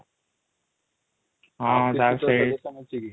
ହଁ ତାହେଲେ ସେଇ